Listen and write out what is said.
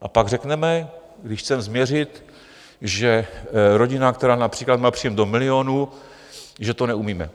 A pak řekneme, když chceme změřit, že rodina, která například má příjem do milionu, že to neumíme.